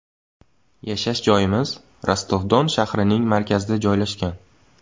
Yashash joyimiz Rostov-Don shahrining markazida joylashgan.